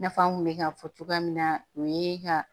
I n'a fɔ an kun bɛ k'a fɔ cogoya min na o ye ka